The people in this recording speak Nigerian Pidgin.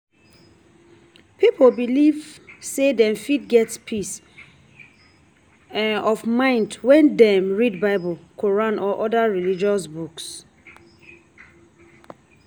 Pipo belive sey dem fit get peace um of mind when dem read bible, quran or oda religious books